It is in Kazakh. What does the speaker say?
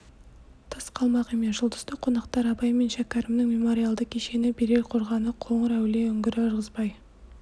тыс қалмақ емес жұлдызды қонақтар абай мен шәкәрімнің мемориалды кешені берел қорғаны қоңыр-әулие үңгірі ырғызбай